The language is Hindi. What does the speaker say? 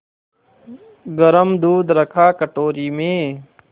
गरम दूध रखा कटोरी में